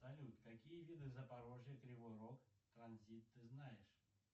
салют какие виды запорожье кривой рог транзит ты знаешь